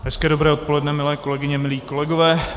Hezké dobré odpoledne, milé kolegyně, milí kolegové.